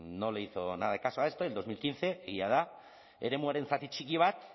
no le hizo nada de caso a esto en dos mil quince jada eremuaren zati txiki bat